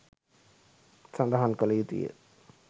සඳහන් කළ යුතුය.